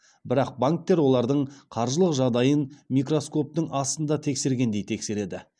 бірақ банктер олардың қаржылық жағдайын микроскоптың астында тексергендей тексереді